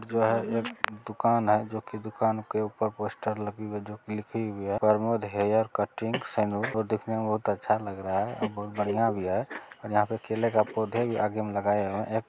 यह एक दुकान है जो की दुकान के ऊपर पोस्टर लगे हुए हैं जो की लिखी हुई हैं "प्रमोद हेयर कटिंग सैलून "और दिखने में बहुत अच्छा लग रहा है बहुत बढ़िया भी है और यहाँ पर केले का पौधा भी आगे में लगाए हुए है। एक --